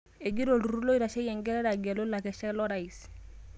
Egira olturur loitasheki engelare agelu lakeshak lo rais